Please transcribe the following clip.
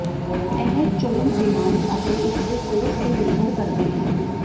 ਇਹ ਚੋਣ ਬੀਮਾਰੀ ਅਤੇ ਇਸ ਦੇ ਕੋਰਸ ਤੇ ਨਿਰਭਰ ਕਰਦੀ ਹੈ